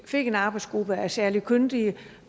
fik en arbejdsgruppe af særlig kyndige